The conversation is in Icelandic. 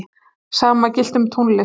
sama gilti um tónlist